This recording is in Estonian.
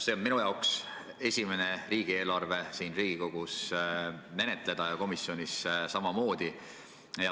See on minu esimene riigieelarve siin Riigikogus menetleda, komisjonis samamoodi.